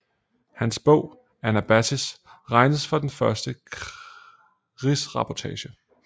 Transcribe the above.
Hans bog Anabasis regnes for den første krigsreportage